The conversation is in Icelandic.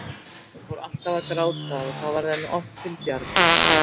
Hún fór alltaf að gráta og það varð henni oft til bjargar.